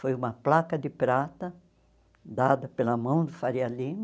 Foi uma placa de prata dada pela mão do Faria Lima.